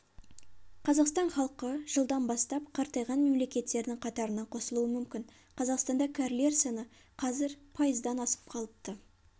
қазақстан халқы жылдан бастап қартайған мемлекеттердің қатарына қосылуы мүмкін қазақстанда кәрілер саны қазір пайыздан асып қалыпты